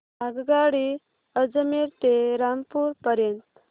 आगगाडी अजमेर ते रामपूर पर्यंत